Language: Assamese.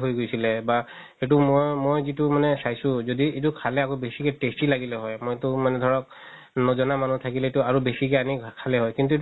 হয় গৈছিলে বা সেইটো ম~ মই মানে চাইছো যদি এইটো খালে আকৌ বেচিকে tasty লাগিলে হয় মইতো মানে ধৰক নজনা মানুহ থালিকেতো আৰু বেচিকে আনি খালে হয় কিন্তু